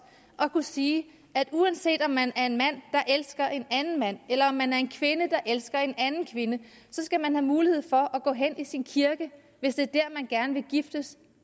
at kunne sige at uanset om man er en mand der elsker en anden mand eller om man er en kvinde der elsker en anden kvinde skal man have mulighed for at gå hen i sin kirke hvis det er dér man gerne vil giftes